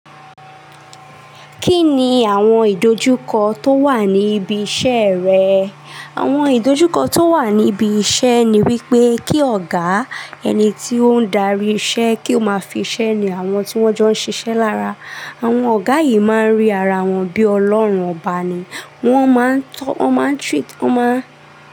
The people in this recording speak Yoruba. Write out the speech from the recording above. Kí ni àwọn ìdojúkọ tó wà ní ibi iṣẹ́ rẹ? Àwọn ìdojúkọ tó wà níbi iṣẹ́ ni wípé kí ọ̀gá ẹni tí ó ń darí iṣẹ́ kí ó máa fi iṣẹ́ ni àwọn tí wón jọ ń ṣiṣẹ́ lára. Àwọn ọ̀gá yìí má ń rí ara wọn bí Ọlọ́run ọba ni. Wón má ń tọ́, wón má ń treat, wón má.